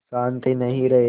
शान्ति नहीं रहेगी